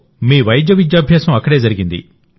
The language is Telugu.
మీ వైద్య విద్యాభ్యాసం అక్కడే జరిగింది